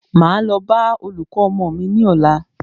Máa lọ bá olùkọ́ ọmọ mí ní ọ̀la.